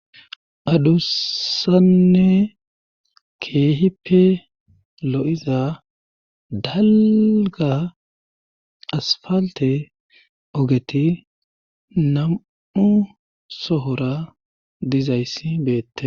adussanne keehipe lo7iza dalga asfalte ogeti nam7u sohora dizayssi beette.